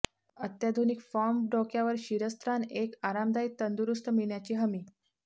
अत्याधुनिक फॉर्म डोक्यावर शिरस्त्राण एक आरामदायी तंदुरुस्त मिळण्याची हमी